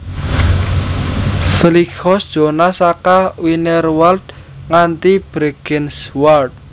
Flysch zone saka Wienerwald nganti Bregenzerwald